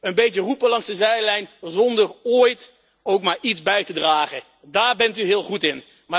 Een beetje roepen langs de zijlijn zonder ooit ook maar iets bij te dragen, daar bent u heel goed in.